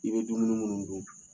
I bɛ dumuni minnu dun